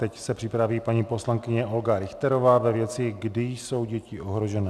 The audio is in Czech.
Teď se připraví paní poslankyně Olga Richterová ve věci - kdy jsou děti ohrožené.